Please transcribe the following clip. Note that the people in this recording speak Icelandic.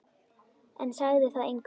En sagði það engum.